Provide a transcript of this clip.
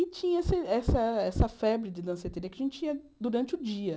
E tinha esse essa essa febre de danceteria que a gente ia durante o dia.